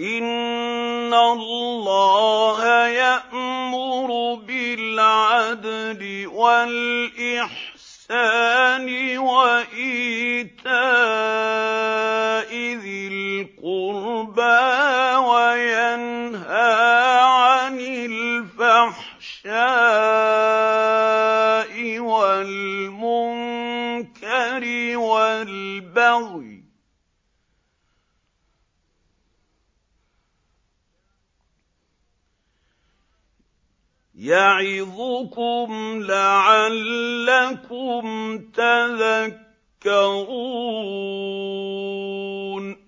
إِنَّ اللَّهَ يَأْمُرُ بِالْعَدْلِ وَالْإِحْسَانِ وَإِيتَاءِ ذِي الْقُرْبَىٰ وَيَنْهَىٰ عَنِ الْفَحْشَاءِ وَالْمُنكَرِ وَالْبَغْيِ ۚ يَعِظُكُمْ لَعَلَّكُمْ تَذَكَّرُونَ